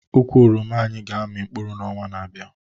Ukwu oroma anyị ga-amị n'ọnwa na-abịa